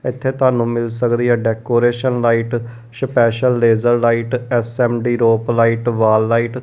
ਇੱਥੇ ਤੁਹਾਨੂੰ ਮਿੱਲ ਸਕਦੀ ਹੈ decoration light special laser light S M D rope light wall light.